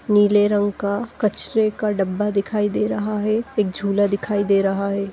नीले रंग का कचरे का डब्बा दिखाई दे रहा है एक झूला दिखाई रहा है।